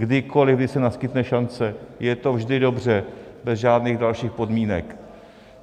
Kdykoliv, kdy se naskytne šance, je to vždy dobře, bez žádných dalších podmínek.